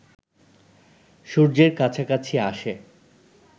সূর্যের কাছাকাছি আসে